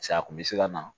a kun bɛ se ka na